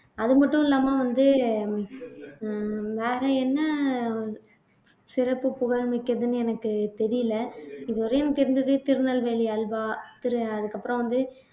அது மட்டும் இல்லாம வந்து உம் வேற என்ன சிறப்பு புகழ் மிக்கதுன்னு எனக்கு தெரியல இதுவரையும் எனக்கு திருநெல்வேலி அல்வா திரு அதுக்கு அப்புறம் வந்து